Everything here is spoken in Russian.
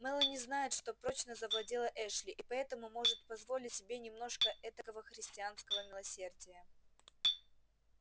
мелани знает что прочно завладела эшли и поэтому может позволить себе немножко этакого христианского милосердия